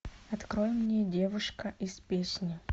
открой мне девушка из песни